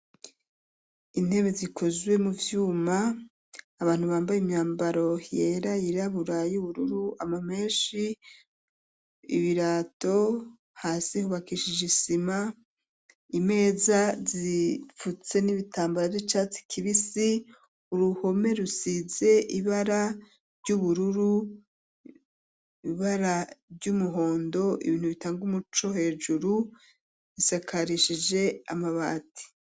Intebe zikozwe mu vyuma, abantu bambaye imyambaro yera yirabura y'ubururu, amamenshi, ibirato, hasi hubakishije isima, imeza zifutse n'ibitambara vy'icatsi kibisi, uruhome rusize ibara ry'ubururu, ibara ry'umuhondo, ibintu bitanga umuco hejuru, zisakarishije amabati